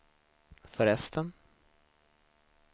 förresten